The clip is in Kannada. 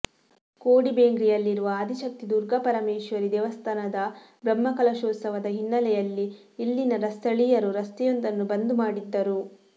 ಕೋಡಿಬೇಂಗ್ರೆಯಲ್ಲಿರುವ ಆದಿಶಕ್ತಿ ದುರ್ಗಾಪರಮೇಶ್ವರಿ ದೇವಸ್ಥಾನದ ಬ್ರಹ್ಮಕಲಶೋತ್ಸವದ ಹಿನ್ನಲೆಯಲ್ಲಿ ಇಲ್ಲಿನ ಸ್ಥಳೀಯರು ರಸ್ತೆಯೊಂದನ್ನು ಬಂದ್ ಮಾಡಿದ್ದರು